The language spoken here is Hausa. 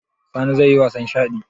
Sani zai yi wasan shaɗi?